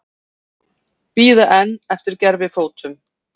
Bíða enn eftir gervifótum